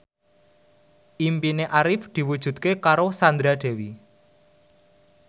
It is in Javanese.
impine Arif diwujudke karo Sandra Dewi